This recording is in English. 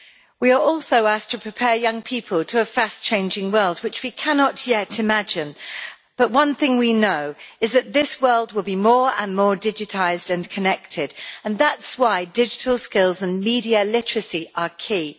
We are also asked to prepare young people to a fast changing world which we cannot yet imagine, but one thing we know is that this world will be more and more digitised and connected, and that is why digital skills and media literacy are key.